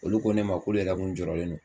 Olu ko ne ma k'olu yɛrɛ kun jɔrɔlen don